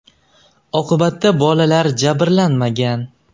Oqibatda bolalar jabrlanmagan.